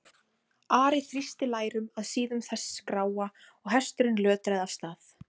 Ari þrýsti lærum að síðum þess gráa og hesturinn lötraði af stað.